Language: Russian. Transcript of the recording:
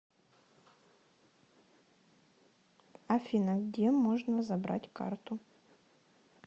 афина где можно забрать карту